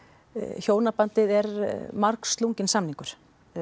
hjónabandið er margslunginn samningur